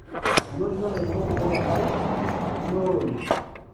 Enotito lairemok kumok enkare te kuna olong'i.